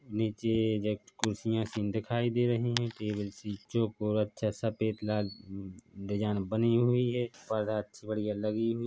नीचे जट खुरसिया सी दिखाई दे रही है टेबल सी चोकोर अच्छा सा पेट लाल डिजाइन बनी हुई है बढ़िया सी लगी हुई हैं।